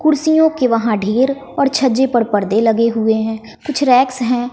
कुर्सियों के वहां देर और छज्जे पर परदे लगे हुए हैं कुछ रेक्स हैं।